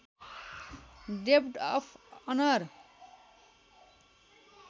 डेब्ट of honour